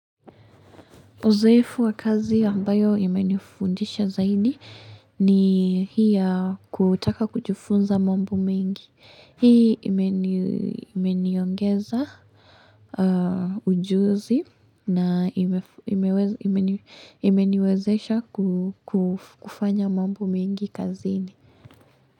Uzoefu wa kazi ambayo imenifundisha zaidi ni hii ya kutaka kujifunza mambo mengi. Hii imeni imeniongeza ujuzi na hivyo imeweza imeniwezesha ku ku kufanya mambo mengi kaziini.